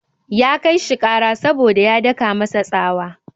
Ya kai shi ƙara saboda ya daka masa tsawa.